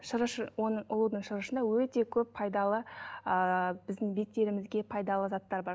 шырышы оның ұлудың шырышында өте көп пайдалы ыыы біздің беттерімізге пайдалы заттар бар